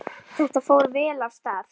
Þetta fór vel af stað.